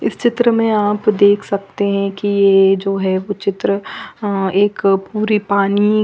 इस चित्र में आप देख सकते है की ये जो है वो चित्र अ एक पूरी पानी--